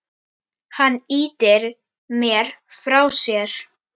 Hann ýtir mér frá sér.